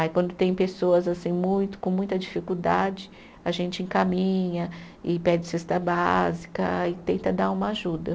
Aí quando tem pessoas assim muito, com muita dificuldade, a gente encaminha e pede cesta básica e tenta dar uma ajuda.